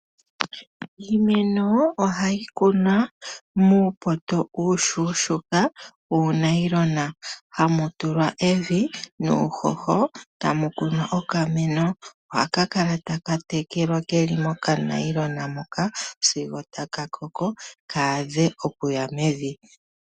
Iimeno ohayi kunwa muupoto uushuushuuka wuunailona hamu tulwa evi nuuhoho tamukunwa okameno . Ohaka kala taka tekelwa keli mokanailona moka sigo taka koko kaadhe oku ya mevi.